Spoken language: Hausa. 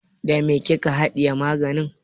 Da me kika haɗiye maganin?